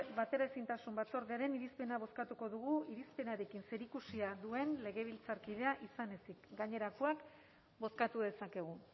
bateraezintasun batzordearen irizpena bozkatuko dugu irizpenarekin zerikusia duen legebiltzarkidea izan ezik gainerakoak bozkatu dezakegu